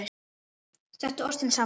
Settu ostinn saman við.